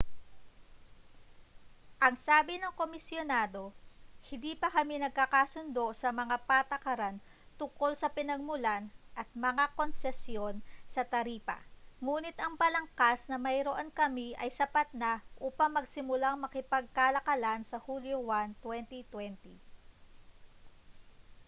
ang sabi ng komisyonado hindi pa kami nagkakasundo sa mga patakaran tungkol sa pinagmulan at mga konsesyon sa taripa nguni't ang balangkas na mayroon kami ay sapat na upang magsimulang makipagkalakalan sa hulyo 1 2020